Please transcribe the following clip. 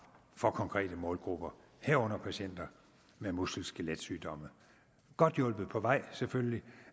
for konkrete målgrupper herunder for patienter med muskel skelet sygdomme godt hjulpet på vej selvfølgelig